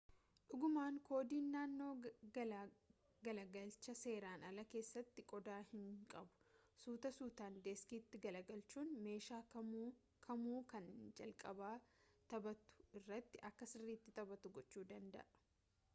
dhugaaman koodiin naannoo galagalcha seeraan alaa keessatti qooda hin qabu sutaa-suutan diiskiitti galagalchuun meeshaa kamuu kan inni jalqabaa taphatu irratti akka sirriiti taphatu gochuu danda'a